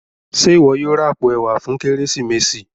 Ṣe iwọ yóò rà apó ẹwà fún Kérésìmesì?